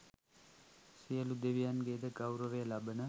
සියලු දෙවියන්ගේ ද ගෞරවය ලබන